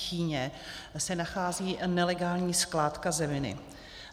Chýně se nachází nelegální skládka zeminy.